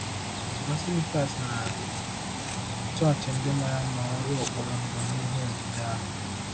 Basilicas na chọọchị ndị mara mma nwere ụkpụrụ mbụ n'ihe odide ahụ?